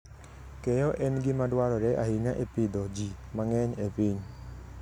Keyo en gima dwarore ahinya e pidho ji mang'eny e piny.